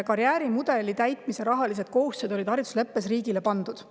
Karjäärimudeli täitmiseks olid haridusleppes rahalised kohustused riigile pandud.